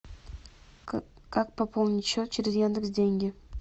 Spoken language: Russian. как пополнить счет через яндекс деньги